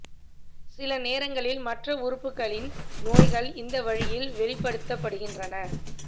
சில நேரங்களில் மற்ற உறுப்புகளின் நோய்கள் இந்த வழியில் வெளிப்படுத்தப்படுகின்றன